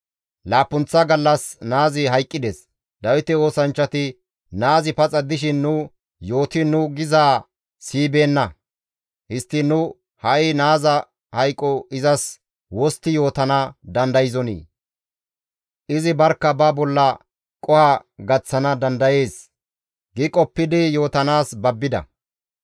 Laappunththa gallas naazi hayqqides; Dawite oosanchchati, «Naazi paxa dishin nu yootiin nu gizaa siyibeenna; histtiin nu ha7i naaza hayqo izas wostti yootana dandayzonii? Izi barkka ba bolla qoho gaththana dandayees» gi qoppidi yootanaas babbida.